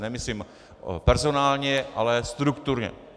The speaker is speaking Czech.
Nemyslím personálně, ale strukturně.